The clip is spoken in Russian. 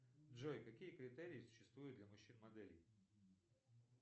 джой какие критерии существуют для мужчин моделей